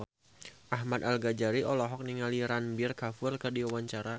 Ahmad Al-Ghazali olohok ningali Ranbir Kapoor keur diwawancara